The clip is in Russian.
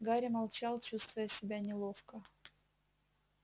гарри молчал чувствуя себя неловко